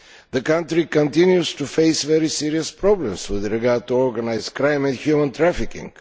The country continues to face very serious problems with regard to organised crime and human trafficking.